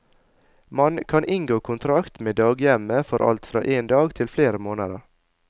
Man kan inngå kontrakt med daghjemmet for alt fra en dag til flere måneder.